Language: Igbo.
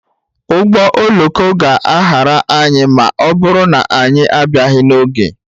Ụgbọ oloko ga-ahara anyị ma ọ bụrụ na anyị abịaghị n'oge.